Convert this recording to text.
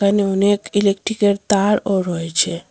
এখানে অনেক ইলেকট্রিকের তারও রয়েছে।